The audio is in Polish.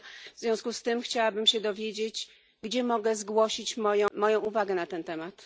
W związku z tym chciałabym się dowiedzieć, gdzie mogę zgłosić moją uwagę na ten temat.